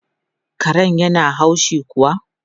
Karen yana haushi kuwa?